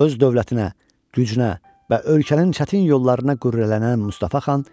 Öz dövlətinə, gücünə və ölkənin çətin yollarına qürrələnən Mustafa xan